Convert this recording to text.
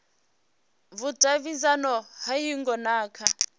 vhudavhidzano ha hingo na kha